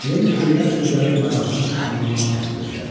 Lenni deyilən sözlərin mənasını anlamağa cəhd göstərdi.